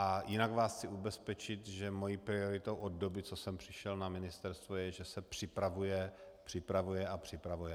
A jinak vás chci ubezpečit, že mou prioritou od doby, co jsem přišel na ministerstvo, je, že se připravuje, připravuje a připravuje.